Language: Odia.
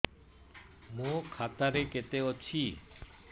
ମୋ ଖାତା ରେ କେତେ ଅଛି